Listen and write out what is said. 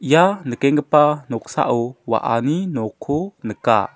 ia nikenggipa noksao wa·ani nokko nika.